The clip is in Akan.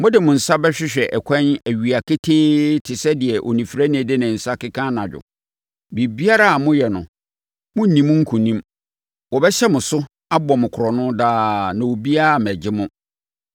Mode mo nsa bɛhwehwɛ ɛkwan awia ketee te sɛ deɛ onifirani de ne nsa keka anadwo. Biribiara a moyɛ no, morenni mu nkonim. Wɔbɛhyɛ mo so, abɔ mo korɔno daa na obiara mmɛgye mo.